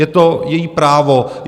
Je to její právo.